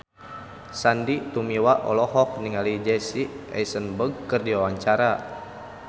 Sandy Tumiwa olohok ningali Jesse Eisenberg keur diwawancara